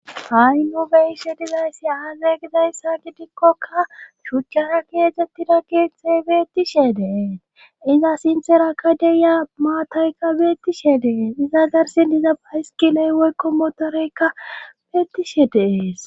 hainobeishe dizayssi aaze gidayssa gidikkoka shuchchara keetzettida keetzthe beettishe deen iza sinthera ka deya maatayka beettishe dees iza garsin diza bayiskiley woykko motoreykka beettishe dees